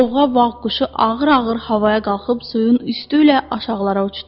Zovğa vağ quşu ağır-ağır havaya qalxıb suyun üstü ilə aşağılara uçdu.